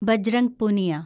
Bajrang Punia